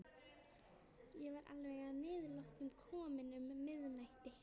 Ég var alveg að niðurlotum kominn um miðnætti.